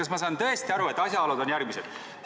Kas ma saan õigesti aru, et asjaolud on järgmised?